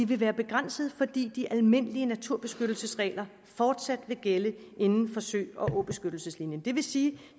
vil være begrænsede fordi de almindelige naturbeskyttelsesregler fortsat vil gælde inden for sø og åbeskyttelseslinjen det vil sige